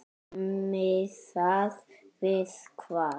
Miðað við hvað?